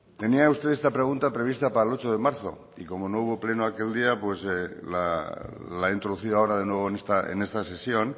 tenía usted esta pregunta prevista para el ocho de marzo y como no hubo pleno aquel día pues la ha introducido ahora de nuevo en esta sesión